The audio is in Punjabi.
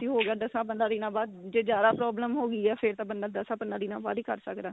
ਸੀ ਹੋ ਗਿਆ ਦਸਾਂ ਪੰਦਰਾ ਦਿਨਾਂ ਬਾਅਦ ਜੇ ਜਿਆਦਾ problem ਹੋ ਗਈ ਏ ਫੇਰ ਤਾਂ ਬਣਦਾ ਦਸਾਂ ਪੰਦਰਾ ਦਿਨਾਂ ਬਾਅਦ ਈ ਕ਼ਰ ਸਕਦਾ